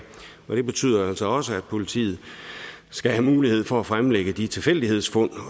det betyder altså også at politiet skal have mulighed for at fremlægge de tilfældighedsfund